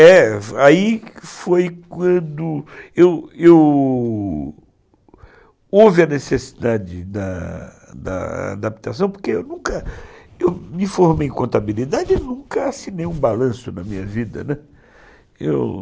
É, aí foi quando, eu eu... houve a necessidade da da adaptação, porque eu nunca me formei em contabilidade e nunca assinei um balanço na minha vida, né, eu